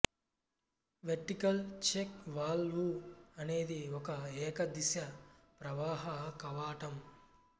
vertical check valve అనేది ఒక ఏకదిశ ప్రవాహ కవాటం